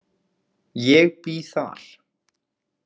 Ég bý þar.